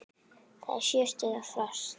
Það er sjö stiga frost!